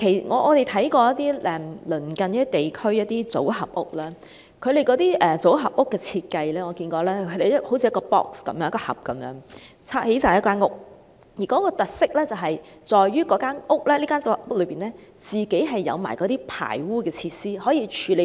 我們看過一些鄰近地區的組合屋，其設計就好像以一個一個盒子，砌成一間房屋，而其特色在於組合屋有排污設施，可以處理排污。